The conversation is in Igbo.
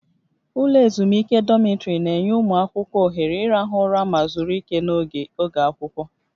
Ụlọ ezumike dọmịtrị na-enye ụmụ akwụkwọ ohere ịrahụ ụra ma zuru ike n'oge oge akwụkwọ